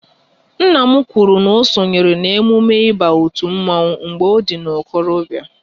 Nna m kwụrụ na sonyere n'emume ịba otu mmanwu mgbe ọ dị n'okorobia